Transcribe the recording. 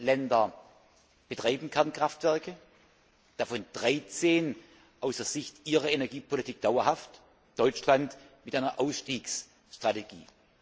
14 Länder betreiben Kernkraftwerke, davon 13 aus der Sicht ihrer Energiepolitik dauerhaft, Deutschland mit einer Ausstiegsstrategie.